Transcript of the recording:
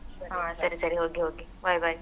ಹಾ ಸರಿ ಸರಿ ಹೋಗಿ ಹೋಗಿ bye bye .